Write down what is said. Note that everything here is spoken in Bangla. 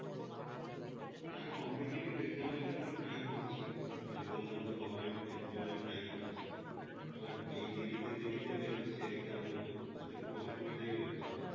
আহ competitive exam এর জন্য try করছি, ওই বললাম government এর জন্য try করছি, এবার যে দেরিতে দেরিতে বের হচ্ছে exam গুলো তাতে খুব অসুবিধাই হচ্ছে